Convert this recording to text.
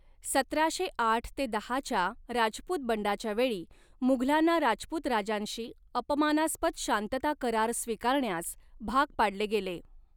सतराशे आठ ते दहाच्या राजपूत बंडाच्या वेळी, मुघलांना राजपूत राजांशी अपमानास्पद शांतता करार स्वीकारण्यास भाग पाडले गेले.